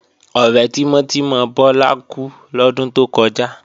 Ọ̀rẹ́ tímọ́ tímọ́ Bọ́lá kú lọ́dún tó kọjá